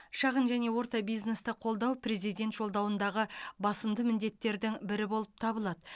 шағын және орта бизнесті қолдау президент жолдауындағы басымды міндеттердің бірі болып табылады